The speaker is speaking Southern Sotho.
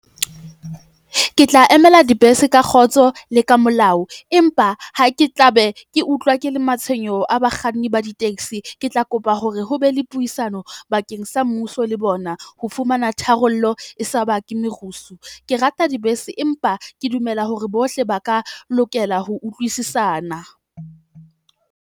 Ke tla emela dibese ka kgotso le ka molao, empa ha ke tla be ke utlwa ke le matshwenyeho a bakganni ba di-taxi. Ke tla kopa hore ho be le puisano bakeng sa mmuso le bona. Ho fumana tharollo e sa ba ke merusu. Ke rata dibese, empa ke dumela hore bohle ba ka lokela ho utlwisisana.